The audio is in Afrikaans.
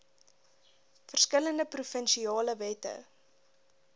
verskillende provinsiale wette